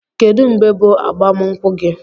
Kedụ mgbe bụ agbam nkwụ gi?